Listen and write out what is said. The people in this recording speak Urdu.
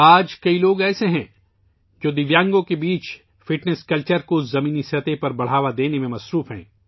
آج بہت سے لوگ ہیں ، جو بنیادی سطح پر معذور افراد میں فٹنس کلچر کو فروغ دینے میں مصروف ہیں